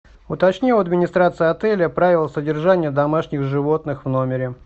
уточни у администрации отеля правила содержания домашних животных в номере